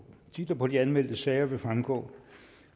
titler på de anmeldte sager vil fremgå